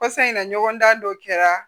Kɔsa in na ɲɔgɔndan dɔ kɛra